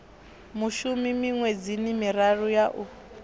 mushumi miṅwedzini miraru ya u